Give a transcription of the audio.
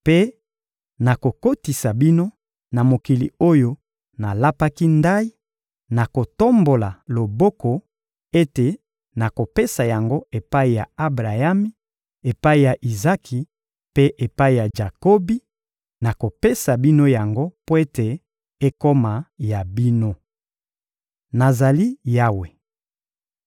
Mpe nakokotisa bino na mokili oyo nalapaki ndayi, na kotombola loboko, ete nakopesa yango epai ya Abrayami, epai ya Izaki mpe epai ya Jakobi; nakopesa bino yango mpo ete ekoma ya bino. Nazali Yawe.»